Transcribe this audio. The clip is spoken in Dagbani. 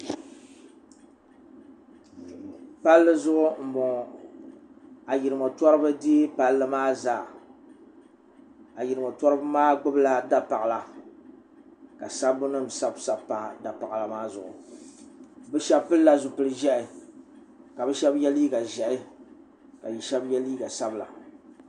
Palli zuɣu n bɔŋo ayirimo tɔriba deeyi palli maa zaa ayirimo tɔriba maa gbubi la dapaɣila ka sabbu nim sabi sabi pa dapaɣila maa zuɣu bi shɛba pili la zipili ʒiɛhi ka bi shɛba yɛ liiga ʒiɛhi ka bi shɛba yɛ liiga sabila.